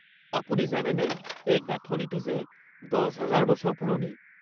আপুনি জানেনে এই গাঁথনিটো যে ১০০০০ বছৰ পুৰণি?